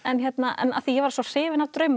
af því ég var svo hrifin af